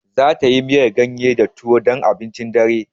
Zata yi miyar ganye da tuwo dan abincin dare.